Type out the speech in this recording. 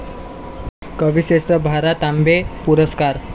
कविश्रेष्ठ भा. रा. तांबे पुरस्कार